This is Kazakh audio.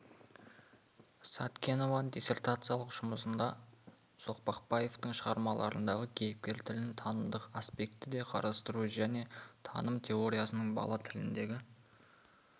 сәткенованың диссертациялық жұмысында соқпақбаевтың шығармаларындағы кейіпкер тілін танымдық аспектіде қарастыру және таным теориясының бала тіліндегі